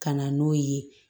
Ka na n'o ye